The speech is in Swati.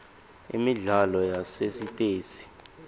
imidlalo yasesitesi